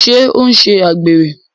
Ṣé ó ń ṣe àgbèrè?